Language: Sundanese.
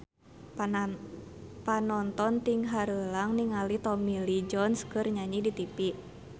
Panonton ting haruleng ningali Tommy Lee Jones keur nyanyi di tipi